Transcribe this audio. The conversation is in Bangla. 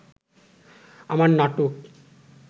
আমার নাটক